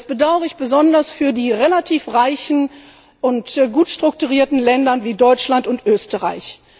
ist. Das bedauere ich besonders für die relativ reichen und gut strukturierten Länder wie Deutschland und Österreich.